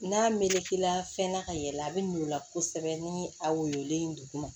N'a melekela fɛn na ka yɛlɛ a bi mi o la kosɛbɛ ni a woyolen duguma